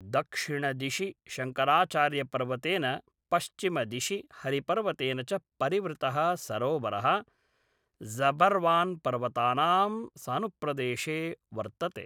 दक्षिणदिशि शङ्कराचार्यपर्वतेन पश्चिमदिशि हरिपर्वतेन च परिवृतः सरोवरः ज़बर्वान्पर्वतानां सानुप्रदेशे वर्तते।